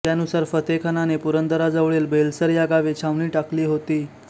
त्यानुसार फतेखानाने पुरंदराजवळील बेलसर या गावी छावणी टाकली होती